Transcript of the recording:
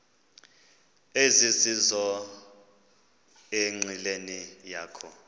ezizizo enqileni yakho